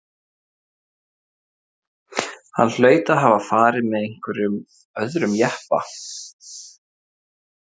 Hann hlaut að hafa farið með einhverjum öðrum jeppa.